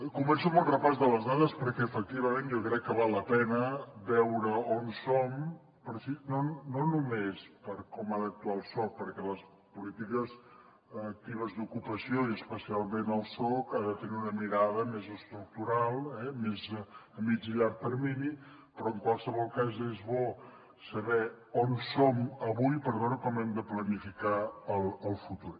començo amb un repàs de les dades perquè efectivament jo crec que val la pena veure on som no només per com ha d’actuar el soc perquè les polítiques actives d’ocupació i especialment el soc ha de tenir una mirada més estructural eh més a mitjà i llarg termini però en qualsevol cas és bo saber on som avui per veure com hem de planificar el futur